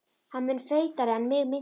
Hann var mun feitari en mig minnti.